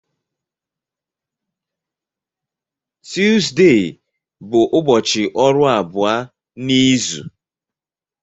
Tuzdee bụ ụbọchị ọrụ abụọ n'izu.